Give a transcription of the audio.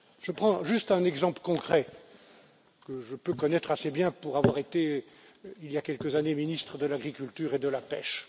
Je prends juste un exemple concret, que je peux connaître assez bien pour avoir été il y a quelques années ministre de l'Agriculture et de la pêche.